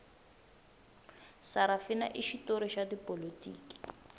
sarafina i xitori xa tipolotiki